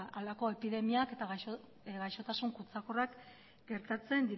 halako epidemiak eta gaixotasun kutsakorrak gertatzen